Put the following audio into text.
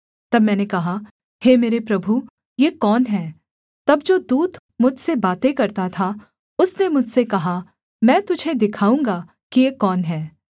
तब मैंने कहा हे मेरे प्रभु ये कौन हैं तब जो दूत मुझसे बातें करता था उसने मुझसे कहा मैं तुझे दिखाऊँगा कि ये कौन हैं